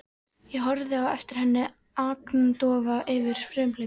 Ég horfði á eftir henni agndofa yfir frumhlaupi mínu.